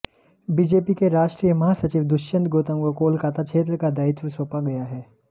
BJP के राष्ट्रीय महासचिव दुष्यंत गौतम को कोलकाता क्षेत्र का दायित्व सौंपा गया है